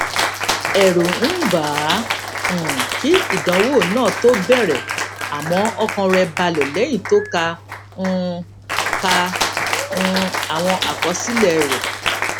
èrù ń bà á um kí ìdánwò náà tó bèrè àmó ọkàn rè balè léyìn tó ka um ka um àwọn àkọsílè rè